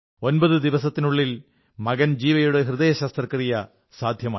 ഒമ്പതു ദിവസത്തിനുള്ളിൽ മകൻ ജീവയുടെ ഹൃദയശസ്ത്രക്രിയ സാധ്യമായി